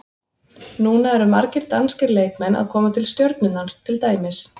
Núna eru margir danskir leikmenn að koma til Stjörnunnar til dæmis.